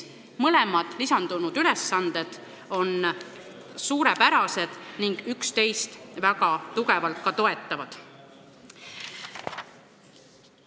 Mõlemad lisandunud ülesanded on suurepärased ning ka üksteist väga tugevalt toetavad.